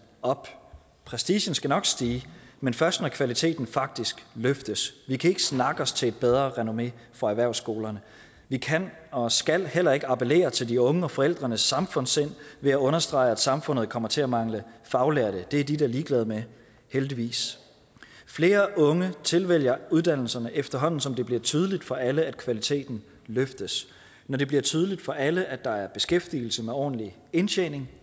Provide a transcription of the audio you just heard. op prestigen skal nok stige men først når kvaliteten faktisk løftes vi kan ikke snakke os til et bedre renommé for erhvervsskolerne vi kan og skal heller ikke appellere til de unges og forældrenes samfundssind ved at understrege at samfundet kommer til at mangle faglærte det er de da ligeglade med heldigvis flere unge tilvælger uddannelserne efterhånden som det bliver tydeligt for alle at kvaliteten løftes når det bliver tydeligt for alle at der er beskæftigelse med ordentlig indtjening